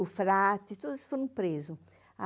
o frate, todos foram presos.